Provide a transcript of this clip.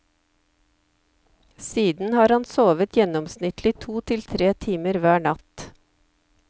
Siden har han sovet gjennomsnittlig to til tre timer hver natt.